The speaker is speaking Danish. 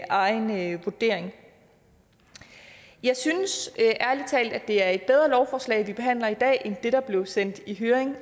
egen vurdering jeg synes ærlig talt det er et bedre lovforslag vi behandler i dag end det der blev sendt i høring